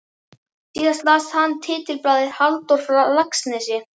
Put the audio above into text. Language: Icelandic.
Síðan las hann titilblaðið: Halldór frá Laxnesi?